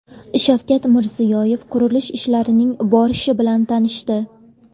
Shavkat Mirziyoyev qurilish ishlarining borishi bilan tanishdi.